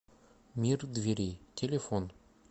мир дверей телефон